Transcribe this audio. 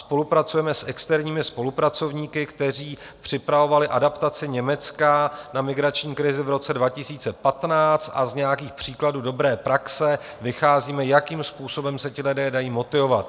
Spolupracujeme s externími spolupracovníky, kteří připravovali adaptaci Německa na migrační krizi v roce 2015, a z nějakých příkladů dobré praxe vycházíme, jakým způsobem se ti lidé dají motivovat.